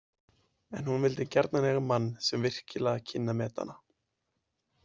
En hún vildi gjarnan eiga mann sem virkilega kynni að meta hana.